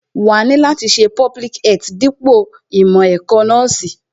Wàá ni láti ṣe public health dípò ìmọ̀ ẹ̀kọ́ nọ́ọ̀sì